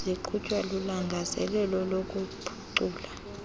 ziqhutywa lulangazelelo lokuphucula